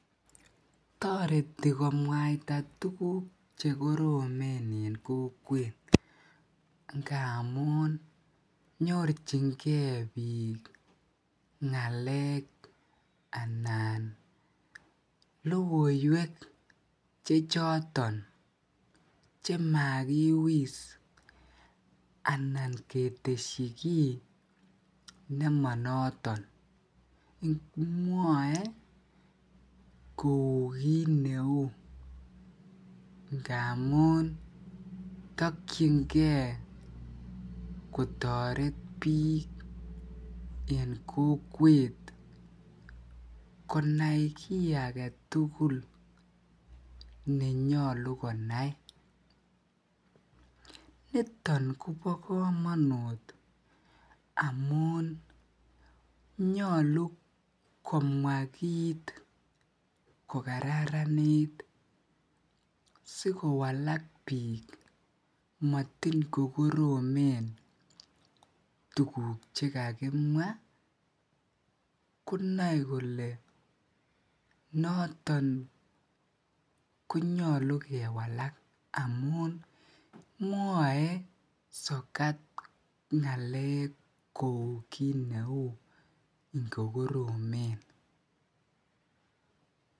Toreti komwaita tukuk chekoromen en kokwn ngamun nyorchinge biikngalek anan lokoiwek chechoton chemakiwis anan ketesyi kii nemonoton, mwoee kouu kiit neuu nganun tokyinge kotoret biik en kokwet kanai kii aketukul nenyolu konai, niton kobokomonut amun nyolu komwa kiit ko kararanit sikowalak biik matin kokoromen tukuk chekakimwa konoe kolee noton konyolu kewalak amun mwoe sokat ngalek kouu kiit neuu ngokoromen.